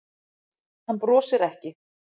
Hann brosir ekki.